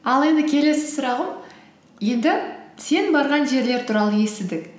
ал енді келесі сұрағым енді сен барған жерлер туралы естідік